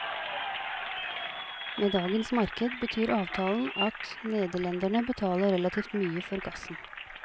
Med dagens marked betyr avtalen at nederlenderne betaler relativt mye for gassen.